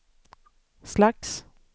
slags